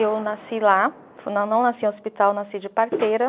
Eu nasci lá, não não nasci em hospital, nasci de parteira.